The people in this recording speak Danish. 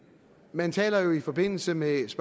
man taler jo i forbindelse med